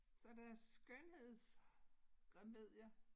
Så der skønhedsremedier